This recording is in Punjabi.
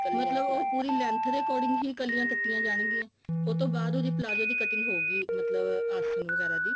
ਮਤਲਬ ਉਹ ਪੂਰੀ length ਦੇ according ਹੀ ਕਲੀਆਂ ਕੱਟੀਆਂ ਜਾਣਗੀਆਂ ਉਹ ਤੋਂ ਬਾਅਦ ਉਹਦੇ palazzo ਦੀ cutting ਹੋਏਗੀ ਆਸਨ ਵਗੈਰਾ ਦੀ